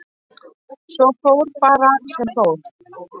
Svo fór bara sem fór.